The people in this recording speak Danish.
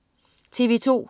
TV2: